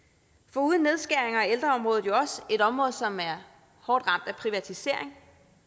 foruden nedskæringer er ældreområdet jo også et område som er hårdt ramt af privatisering